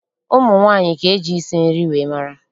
Ụmụ nwaanyị ka eji isi nri wee mara